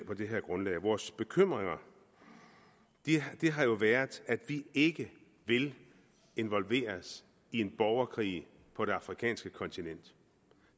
her grundlag vores bekymring har jo været at vi ikke vil involveres i en borgerkrig på det afrikanske kontinent